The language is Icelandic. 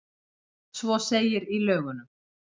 Svo segir í lögunum.